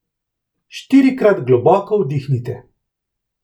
Štirikrat globoko vdihnite.